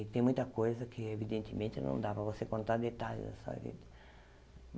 E tem muita coisa que, evidentemente, não dá para você contar detalhes da sua vida.